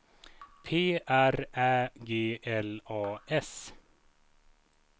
P R Ä G L A S